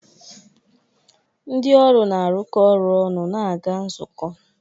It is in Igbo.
Ndị ọrụ na-arụkọ ọrụ ọnụ na-aga nzukọ.